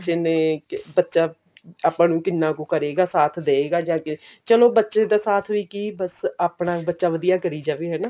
ਬੱਚੇ ਨੇ ਬੱਚਾ ਆਪਾਂ ਨੂੰ ਕਿੰਨਾ ਕੁ ਕਰੇਗਾ ਸਾਥ ਦਵੇਗਾ ਜਾ ਅੱਗੇ ਚਲੋ ਬੱਚੇ ਦਾ ਸਾਥ ਵੀ ਕੀ ਬਸ ਆਪਣਾ ਬੱਚਾ ਵਧੀਆ ਕਰੀ ਜਾਵੇ ਹਨਾ